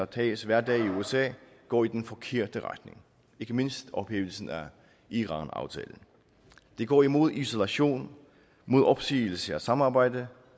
tages hver dag i usa går i den forkerte retning ikke mindst ophævelsen af iranaftalen det går imod isolation imod opsigelse af samarbejde